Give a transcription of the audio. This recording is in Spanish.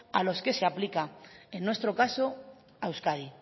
a los que se aplica en nuestro caso a euskadi